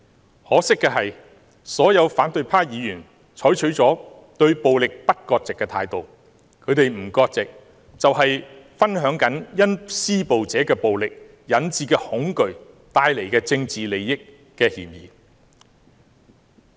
很可惜的是，所有反對派議員也採取對暴力不割席的態度，他們不割席，就有分享因施暴者的暴力引致的恐懼所帶來的政治利益之嫌。